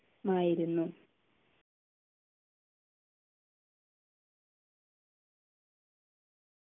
മായിരുന്നു